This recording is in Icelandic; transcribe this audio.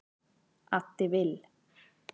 Addi Vill